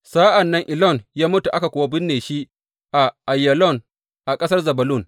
Sa’an nan Elon ya mutu, aka kuwa binne shi a Aiyalon a ƙasar Zebulun.